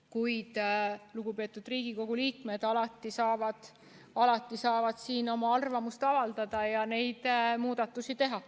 Kuid lugupeetud Riigikogu liikmed saavad alati siin oma arvamust avaldada ja ka neid muudatusi teha.